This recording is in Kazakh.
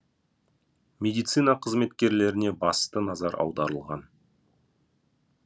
медицина қызметкерлеріне басты назар аударылған